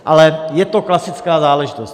Ale je to klasická záležitost.